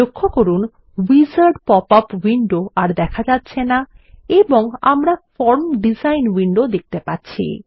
লক্ষ্য করুন wizard popup window আর দেখা যাচ্ছে না এবং আমরা ফর্ম ডিজাইন উইন্ডো দেখতে পাচ্ছি